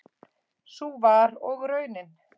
Sú var og raunin.